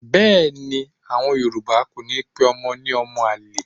Bẹ́ẹ̀ ni, à̀wọn Yorùbá kò ní pe ọmọ ní ọmọ àlè.